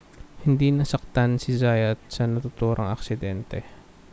hindi nasaktan si zayat sa naturang aksidente